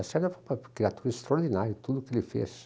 O Lacerda é um criatura extraordinário, em tudo o que ele fez.